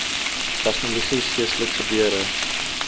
tegnologie geestelike gebeure